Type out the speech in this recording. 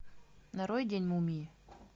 нарой день мумии